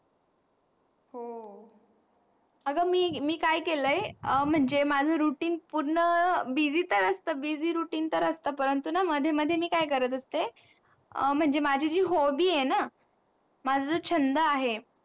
अगं मी मी काय केलंय, अं म्हणजे माझं routine पूर्ण busy तर असत busy routine परंतु मध्ये मध्ये मी काय करत असते. अह म्हनजे माझी जी Hobby आहे न? माझ ज छंद आहे.